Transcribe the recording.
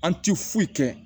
An ti foyi kɛ